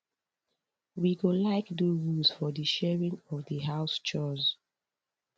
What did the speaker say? we go like do rules for di sharing of di house chores